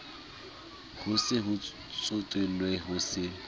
ho se tsotellwe ho se